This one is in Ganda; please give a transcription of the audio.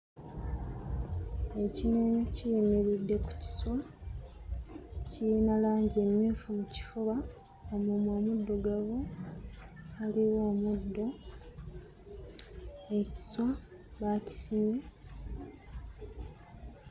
Ekinyonyi kiyimiridde ku kiswa. Kiyina langi emmyufu mu kifuba, omumwa muddugavu, waliwo omuddo, ekiswa baakisimye.